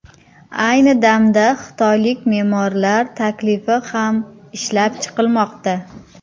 Ayni damda xitoylik me’morlar taklifi ham ishlab chiqilmoqda.